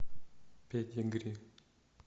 педигри